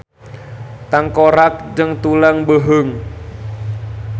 Tangkorak jeung tulang beuheung.